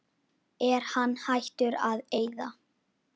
Er hann hættur að eyða?